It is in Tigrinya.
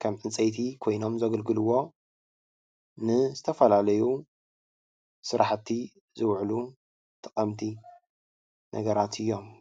ከም ዕንፀይቲ ኮይኖም ዘገልግልዎ ን ዝተፈላለዩ ስራሕቲ ዝዉዕሉ ጠቀምቲ ነገራት እዮም ።